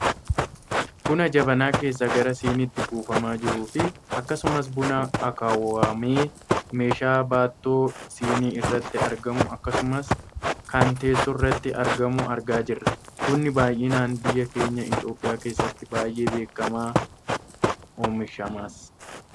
buna jabanaa keessaa gara siniitti buufamaa jiruufi akkasumas buna akaawwamee meeshaa baattoo sinii irratti argamu akkasumas kan teessoorratti argamu argaa jirra. bunni baayyinaan biyya keenya Itoopiyaa keessati baayyee beekkama , oomishamas.